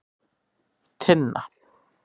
Tinna